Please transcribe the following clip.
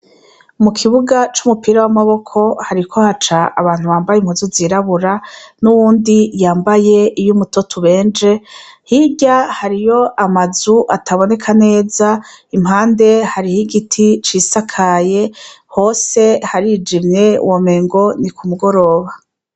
Mu kibuga c'umupira w'amaboko hariko haca abantu babaye impuzu zirabura, n'uwundi yambaye iy'umutoto ubenje. Hirya ,hariyo amazu ataboneka neza ,impande hariho igiti cisakaye hose. Harijimye womenga ni ku mugoroba.